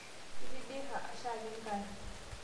Itidira shaake nkari